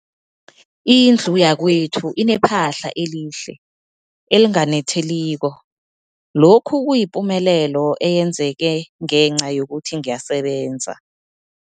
Indlu yakwethu inephahla elihle, elinganetheliko, lokhu kuyipumelelo eyenzeke ngenca yokuthi ngiyasebenza.